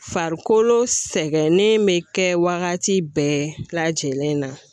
Farikolo sɛgɛnnen be kɛ wagati bɛɛ lajɛlen na